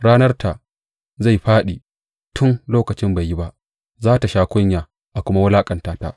Ranarta zai fāɗi tun lokacin bai yi ba; za tă sha kunya a kuma wulaƙanta ta.